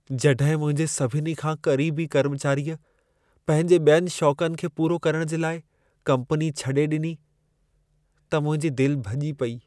जॾहिं मुंहिंजे सभिनी खां क़रीबी कर्मचारीअ पंहिंजे ॿियनि शौंकनि खे पूरो करण जे लाइ कम्पनी छॾे ॾिनी, त मुंहिंजी दिल भॼी पेई।